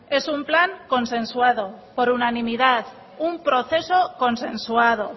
es un plan consensuado por unanimidad un proceso consensuado